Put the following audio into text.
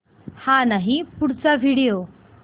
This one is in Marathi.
हा नाही पुढचा व्हिडिओ